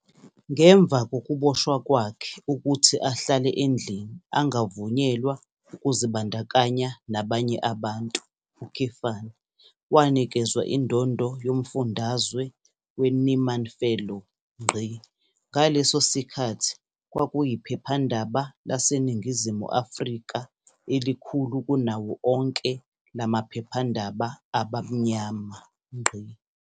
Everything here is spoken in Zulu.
Ngemva kokuboshwa kwakhe ukuthi ahlale endlini angavunyelwa ukuzibandakanya nabanye abantu, wanikezwa indondo yomfundazwe weNieman Fellow. Ngaleso sikhathi kwakuyiphephandaba laseNingizimu Afrika elikhulu kunawo onke la maphephendaba abamnyama.